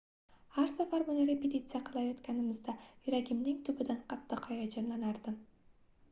har safar buni repetitsiya qilayotganimizda yuragimning tubidan qattiq hayajonlanardim